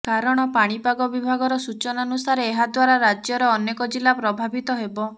କାରଣ ପାଣିପାଗ ବିଭାଗର ସୂଚନାନୁସାରେ ଏହାଦ୍ୱାରା ରାଜ୍ୟର ଅନେକ ଜିଲ୍ଲା ପ୍ରଭାବିତ ହେବ